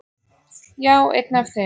Já, einn af þeim